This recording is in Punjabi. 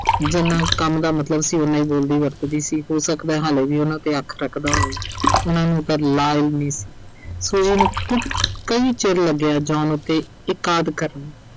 ਜਿੰਨਾ ਕੁ ਕੰਮ ਦਾ ਮਤਲਬ ਸੀ ਉਨਾਂ ਹੀ ਬੋਲਦੀ ਵਰਤਦੀ ਸੀ। ਹੋ ਸਕਦਾ ਹਾਲੇ ਵੀ ਉਨ੍ਹਾਂ ਤੇ ਅੱਖ ਰੱਖਦਾ ਹੋਵੇ। ਉਨ੍ਹਾਂ ਨੂੰ ਪਰ ਮਾਲੂਮ ਨਹੀਂ ਸੀ। ਸੋ ਉਹਨੂੰ ਕੁ ਅਹ ਕਈ ਚਿਰ ਲੱਗਿਆ John ਉੱਤੇ ਕਰਨ